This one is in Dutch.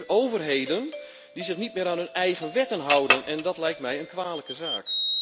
We hebben nu dus overheden die zich niet meer aan hun eigen wetten houden en dat lijkt mij een kwalijke zaak.